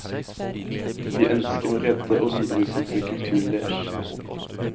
Vi ønsker å redde og videreutvikle kulturen deres.